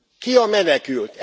Ki a menekült?